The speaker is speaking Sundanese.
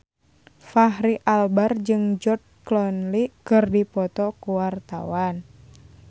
Fachri Albar jeung George Clooney keur dipoto ku wartawan